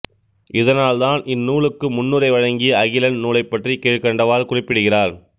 இதனால் தான் இந்நூலுக்கு முன்னுரை வழங்கிய அகிலன் நூலைப்பற்றி கீழ்க்கண்டவாறு குறிப்பிடுகிறார்